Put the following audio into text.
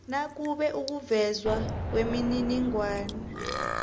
nakube ukuvezwa kwemininingwana